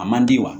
A man di wa